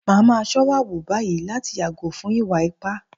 Màá máa ṣọ́wà wù báyìí láti yàgò fún ìwà ipá